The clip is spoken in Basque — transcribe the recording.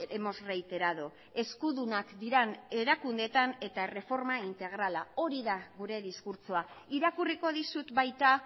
hemos reiterado eskudunak diren erakundeetan eta erreforma integrala hori da gure diskurtsoa irakurriko dizut baita